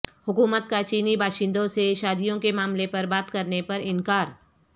حکومت کا چینی باشندوں سے شادیوں کے معاملے پر بات کرنے پر انکار